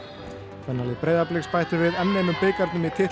kvennalið Breiðabliks bætti við enn einum bikarnum í